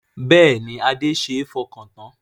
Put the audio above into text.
Bẹ́ẹ̀ni Adé ṣe é fọkàn tán